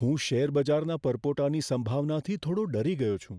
હું શેરબજારના પરપોટાની સંભાવનાથી થોડો ડરી ગયો છું.